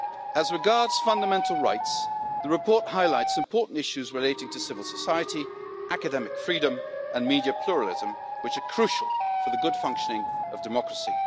As regards fundamental rights, the report highlights important issues relating to civil society, academic freedom and media pluralism, which are crucial for the good functioning of democracy.